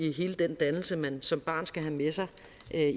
i hele den dannelse man som barn skal have med sig